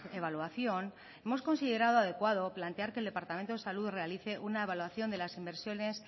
evaluación hemos considerado adecuado plantear que el departamento de salud realice una evaluación de las inversiones